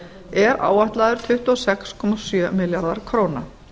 er áætlaður tuttugu og sex komma sjö milljarðar króna